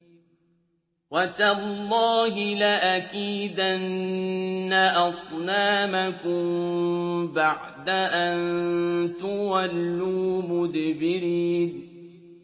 وَتَاللَّهِ لَأَكِيدَنَّ أَصْنَامَكُم بَعْدَ أَن تُوَلُّوا مُدْبِرِينَ